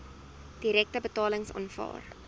direkte betalings aanvaar